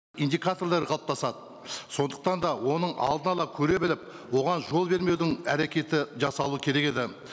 индикаторлары қалыптасады сондықтан да оның алдын ала көре біліп оған жол бермеудің әрекеті жасалу керек еді